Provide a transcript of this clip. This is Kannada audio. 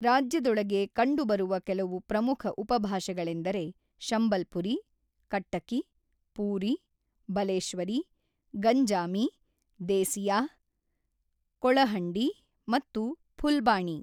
ರಾಜ್ಯದೊಳಗೆ ಕಂಡುಬರುವ ಕೆಲವು ಪ್ರಮುಖ ಉಪಭಾಷೆಗಳೆಂದರೆ ಶಂಬಲ್ಪುರಿ, ಕಟ್ಟಕಿ, ಪೂರಿ, ಬಲೇಶ್ವರಿ, ಗಂಜಾಮಿ, ದೇಸಿಯಾ, ಕೊಳಹಂಡಿ ಮತ್ತು ಫುಲ್ಬಾಣಿ.